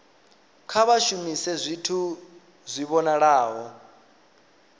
kha vha shumise zwithu zwi vhonalaho